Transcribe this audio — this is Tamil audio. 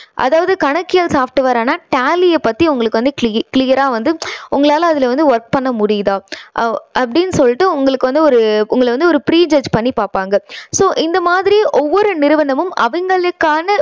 அதாவது கணக்கியல் software ஆன tally ய பத்தி cle~clear ரா வந்து உங்களால அதுல வந்து work பண்ண முடியுதா? அ~அப்படின்னு சொல்லிட்டு உங்களுக்கு வந்து ஒரு உங்களை வந்து ஒரு pre test பண்ணி பாப்பாங்க. so இந்த மாதிரி ஒவ்வொரு நிறுவனமும் அவங்களுக்கான